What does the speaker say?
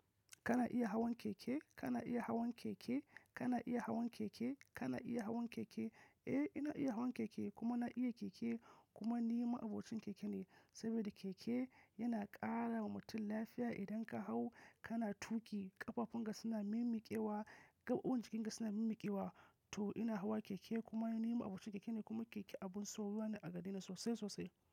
Kana iya hawan keke? Kana iya hawan keke? Kana iya hawan keke? Kana iya hawan keke? Eh ina iya hawan keke kuma na iya keke kuma ni ma'abocin keke ne saboda keke yana ƙara wa mutum lafiya. Idan ka hau kana tuƙi ƙafafunka suna mimikewa, gaɓoɓin jikin ka suna mimikewa. To ina hawa keke kuma ni ma'abocin keke ne kuma keke abun soyuwa na agareni sosai sosai.